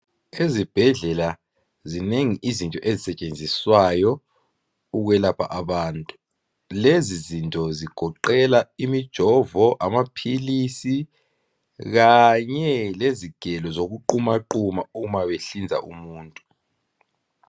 Ezibhedlela zinengi izinto ezisentshenziswayo ukwelapha abantu lezi zinto zigoqela imijovo amaphilisi Kanye lezigelo zoku qumaquma uma behlinza umuntu